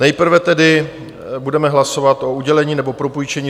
Nejprve tedy budeme hlasovat o udělení nebo propůjčení